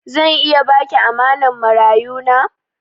Zan iya ba ki amanan marayu na?